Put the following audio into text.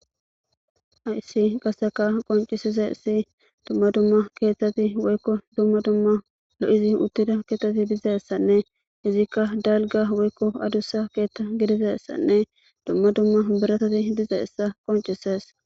Haysi qaseka qoncisizesi dumma dumma keeththati woykko dumma dumma lo7izi uttida keeththati dizeessanne izikka dalga woykko adussa keeththa gidizessanne dumma dumma birasati dizeessa qoncisees.